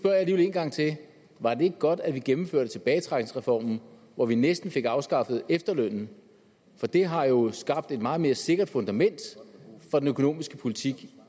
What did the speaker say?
gang til var det ikke godt at vi gennemførte tilbagetrækningsreformen hvor vi næsten fik afskaffet efterlønnen for det har jo skabt et meget mere sikkert fundament for den økonomiske politik